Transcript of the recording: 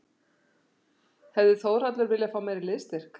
Hefði Þórhallur viljað fá meiri liðsstyrk?